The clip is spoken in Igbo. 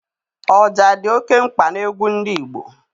Ọja dị oké mkpa n'egwu ndị Igbo.